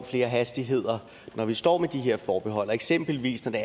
flere hastigheder når vi står med de her forbehold og eksempelvis når det